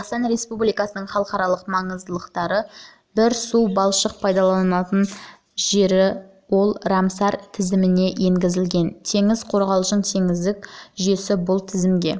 қазақстан республикасының халықаралық маңыздылықтағы бір су-балшықтық пайдаланылатын жері бар ол рамсар тізіміне енгізілген теңіз-қорғалжың теңіздік жүйесі бұл жүйе тізімге